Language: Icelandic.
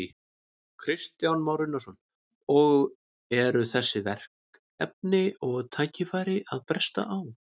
Kristján Már Unnarsson: Og eru þessi verkefni og tækifæri að bresta á?